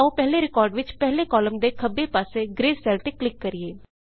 ਇਸ ਲਈ ਆਉ ਪਹਿਲੇ ਰਿਕਾਰਡ ਵਿੱਚ ਪਹਿਲੇ ਕਾਲਮ ਦੇ ਖੱਬੇ ਪਾਸੇ ਗ੍ਰੇ ਸੈਲ ਤੇ ਕਲਿੱਕ ਕਰੀਏ